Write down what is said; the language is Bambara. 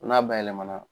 N'a bayɛlɛma na